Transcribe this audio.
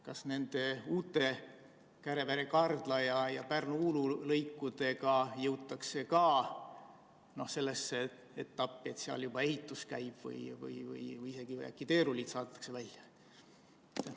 Kas nende uute Kärevere–Kardla ja Pärnu–Uulu lõikudega jõutakse sellesse etappi, et seal juba ehitus käib või isegi äkki teerullid saadetakse välja?